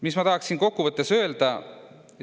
Mis ma tahaksin kokku võttes öelda?